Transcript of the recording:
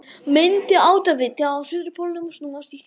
Myndi áttaviti á suðurpólnum snúast í hringi?